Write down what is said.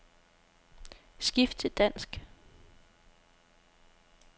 Skift til dansk.